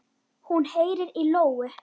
Hún heyrir í lóu.